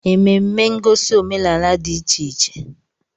Ememme ngosi omenala dị iche iche.